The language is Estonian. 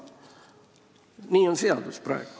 Nii on praegu seaduseelnõu järgi.